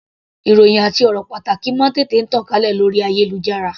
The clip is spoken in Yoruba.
Ìròhìn àti ọ̀rọ̀ pàtàkì máa ń tètè tàn kálẹ̀ lórí ayélujára.